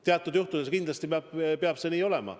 Teatud juhtudel kindlasti peab see nii olema.